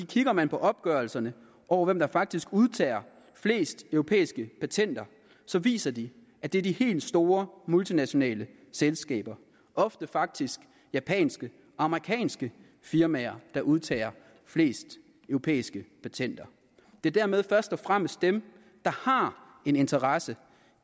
kigger man på opgørelserne over hvem der faktisk udtager flest europæiske patenter så viser de at det er de helt store multinationale selskaber ofte faktisk japanske og amerikanske firmaer der udtager flest europæiske patenter det er dermed først og fremmest dem der har en interesse